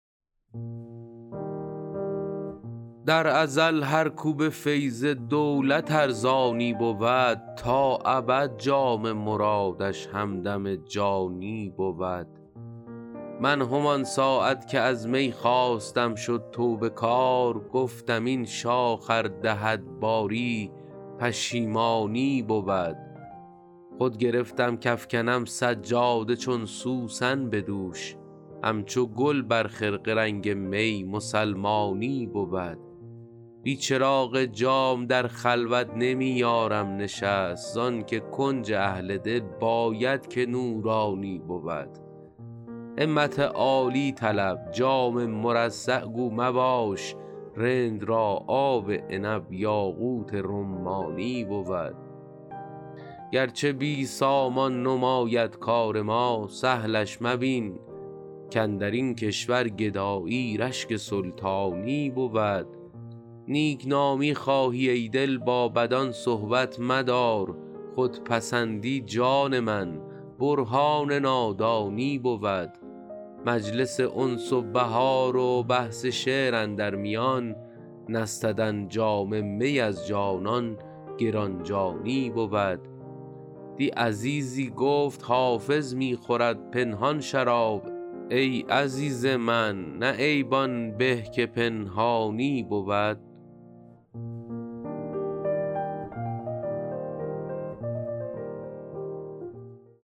در ازل هر کو به فیض دولت ارزانی بود تا ابد جام مرادش همدم جانی بود من همان ساعت که از می خواستم شد توبه کار گفتم این شاخ ار دهد باری پشیمانی بود خود گرفتم کافکنم سجاده چون سوسن به دوش همچو گل بر خرقه رنگ می مسلمانی بود بی چراغ جام در خلوت نمی یارم نشست زان که کنج اهل دل باید که نورانی بود همت عالی طلب جام مرصع گو مباش رند را آب عنب یاقوت رمانی بود گرچه بی سامان نماید کار ما سهلش مبین کاندر این کشور گدایی رشک سلطانی بود نیک نامی خواهی ای دل با بدان صحبت مدار خودپسندی جان من برهان نادانی بود مجلس انس و بهار و بحث شعر اندر میان نستدن جام می از جانان گران جانی بود دی عزیزی گفت حافظ می خورد پنهان شراب ای عزیز من نه عیب آن به که پنهانی بود